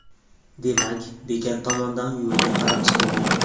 Demak, bekat tomondan yo‘lga qarab chiqilgan.